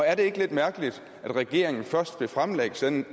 er det ikke lidt mærkeligt at regeringen først vil fremlægge sådan